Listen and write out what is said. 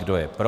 Kdo je pro?